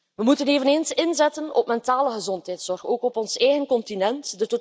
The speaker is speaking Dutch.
We moeten eveneens inzetten op mentale gezondheidszorg, ook op ons eigen continent.